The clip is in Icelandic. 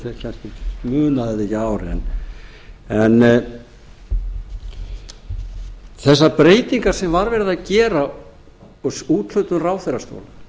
salnum munum þetta kannski ekki að ári þessar breytingar sem var verið að gera og úthlutun ráðherrastóla